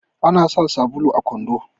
ana sa sabulu a kwando